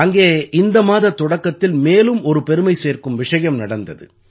அங்கே இந்த மாதத் தொடக்கத்தில் மேலும் ஒரு பெருமை சேர்க்கும் விஷயம் நடந்தது